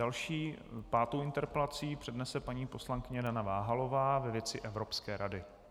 Další, pátou interpelaci přednese paní poslankyně Dana Váhalová ve věci Evropské rady.